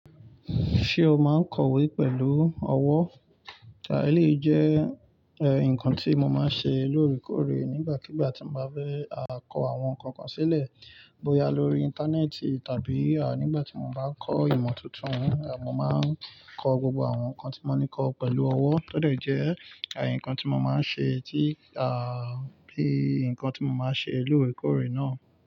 Ṣé o máa ń kọ̀wé pẹ̀lú ọwọ́? Rárá, èyí jẹ́ ǹkan tí mo máa ń ṣe lóòrèkóòrè nígbàkigbà tí mo bá fẹ́ kọ àwọn ǹkankan sílẹ̀, bóyá lórí Íńtánẹ́ẹ̀tì tàbí nígbà tí mo bá ń kọ ìmọ̀ tuntun, mo máa ń kọ gbogbo àwọn nǹkan tí mo ní kọ pẹ̀lú ọwọ́. Ó dẹ̀ jẹ́, ǹkan tí mo máa ń ṣe tí, bí ǹkan tí mo máa ń ṣe lóòrèkóòrè náà.